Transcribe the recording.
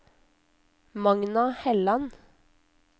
Magna Helland